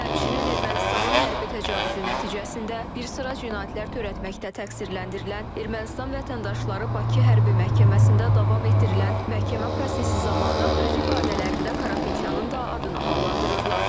Həmçinin Ermənistanın hərbi təcavüzü nəticəsində bir sıra cinayətlər törətməkdə təqsirləndirilən Ermənistan vətəndaşları Bakı Hərbi Məhkəməsində davam etdirilən məhkəmə prosesi zamanı öz ifadələrində Karapetyanın da adını hallandırırlar.